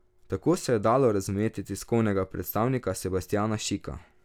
Tako se je dalo razumeti tiskovnega predstavnika Sebastjana Šika.